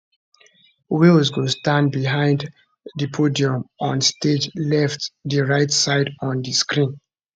walz go stand behind di podium on stage left di right side on di screen